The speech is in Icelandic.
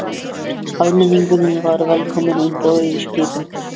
Almenningur var velkomin um borð í skipin.